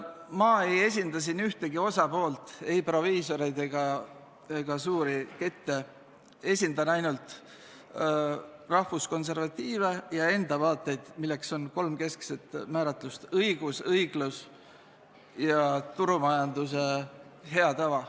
Ma ei esinda siin ühtegi osapoolt, ei proviisoreid ega suuri kette, esindan ainult rahvuskonservatiive ja enda vaateid, milleks on kolm keskset määratlust: õigus, õiglus ja turumajanduse hea tava.